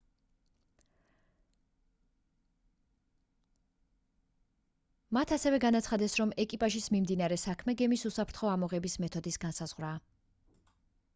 მათ ასევე განაცხადეს რომ ეკიპაჟის მიმდინარე საქმე გემის უსაფრთხო ამოღების მეთოდის განსაზღვრაა